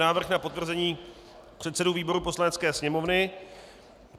Návrh na potvrzení předsedů výborů Poslanecké sněmovny